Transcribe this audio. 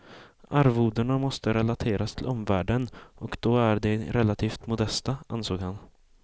Arvodena måste relateras till omvärlden, och då är de relativt modesta, ansåg han.